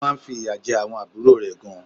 Ó má nfi ìyà je àwon àbúrò rè gan